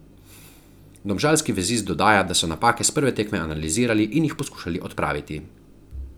Domžalski vezist dodaja, da so napake s prve tekme analizirali in jih poskušali odpraviti.